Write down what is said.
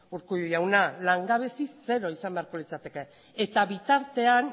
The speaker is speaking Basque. urkullu jauna langabezi zero izan beharko litzateke eta bitartean